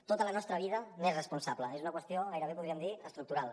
tota la nostra vida n’és responsable és una qüestió gairebé podríem dir estructural